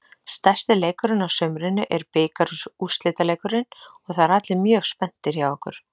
Stærsti leikurinn á sumrinu er bikarúrslitaleikurinn og það eru allir mjög spenntir hjá okkur.